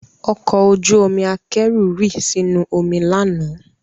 Ọkọ ojú omi akẹ́rù rì sínú omi lánàá